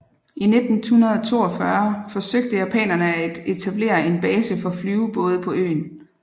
I 1942 forsøgte japanerne at etablere en base for flyvebåde på øen